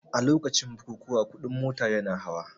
A lokacin bukukuwa kuɗin mota yana hawa